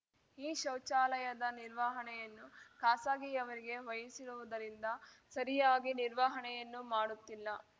ಈ ಶೌಚಾಲಯದ ನಿರ್ವಹಣೆಯನ್ನು ಖಾಸಗಿಯವರಿಗೆ ವಹಿಸಿರುವುದರಿಂದ ಸರಿಯಾಗಿ ನಿರ್ವಹಣೆಯನ್ನೂ ಮಾಡುತ್ತಿಲ್ಲ